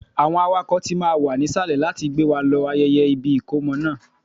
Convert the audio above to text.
Àwọn awakọ̀ tí máa wà nísàlẹ̀ láti gbé wa lọ ibi ayẹyẹ ìkómọ náà